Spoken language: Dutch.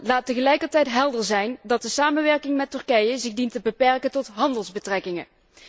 Laat tegelijkertijd helder zijn dat de samenwerking met Turkije zich dient te beperken tot handelsbetrekkingen.